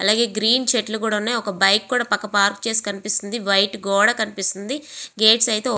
అలాగే గ్రీన్ చెట్లు కూడా ఉన్నాయ్ ఒక బైక్ కూడా పక్కన పార్క్ చేసి ఉంది వైట్ గోడ కనిపిస్తుంది గేట్స్ అయితే ఓపెన్ --